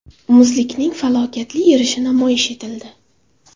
Muzlikning falokatli erishi namoyish etildi.